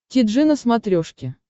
ти джи на смотрешке